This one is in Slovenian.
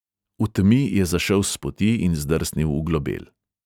V temi je zašel s poti in zdrsnil v globel.